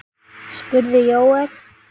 spurði Jóel.